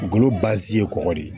Golo ye kɔgɔ de ye